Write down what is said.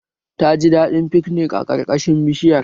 Ta ji daɗin fiknik a ƙarƙashin bishiyar